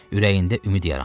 Ürəyində ümid yarandı.